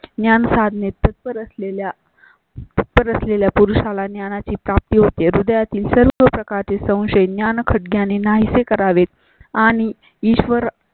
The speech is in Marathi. ज्ञान साधने तत्पर असलेल्या तत्पर असलेल्या पुरुषा ला ज्ञानाची प्राप्ती होते. हृदया तील सर्व प्रकारचे संशय ज्ञान खटक्याने यांनी नाहींसे करावेत आणि ईश्वर